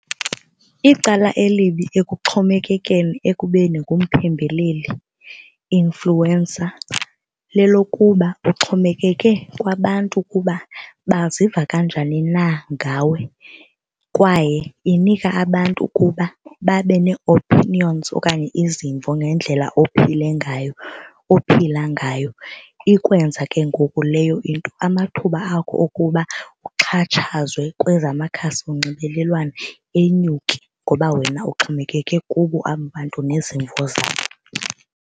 Icala elibi ekuxhomekekeni ekubeni ngumpembeleli, influencer, lelokuba uxhomekeke kwabantu ukuba baziva kanjani na ngawe kwaye inika abantu ukuba babe ne-opinions okanye izimvo ngendlela ophile ngayo, ophila ngayo. Ikwenze ke ngoku leyo nto amathuba akho okuba uxhatshazwe kwezamakhasi onxibelelwano enyuke ngoba wena uxhomekeke kubo aba bantu nezimvo zabo.